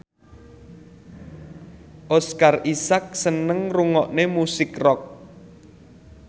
Oscar Isaac seneng ngrungokne musik rock